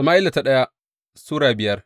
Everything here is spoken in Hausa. daya Sama’ila Sura biyar